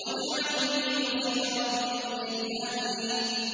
وَاجْعَل لِّي وَزِيرًا مِّنْ أَهْلِي